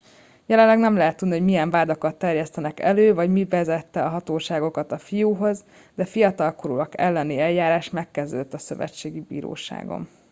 jelenleg nem lehet tudni hogy milyen vádakat terjesztenek elő vagy mi vezette a hatóságokat a fiúhoz de a fiatalkorúak elleni eljárás megkezdődött a szövetségi bíróságon